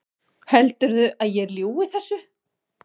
Heldurðu að ég ljúgi þessu?